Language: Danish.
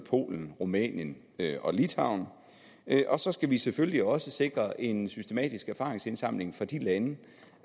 polen rumænien og litauen og så skal vi selvfølgelig også sikre en systematisk erfaringsindsamling fra de lande